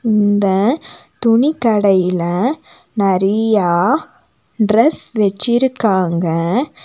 இந்த துணிக்கடையில நரீயா டிரஸ் வெச்சிருக்காங்க.